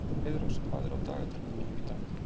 Heiðrós, hvað er á dagatalinu mínu í dag?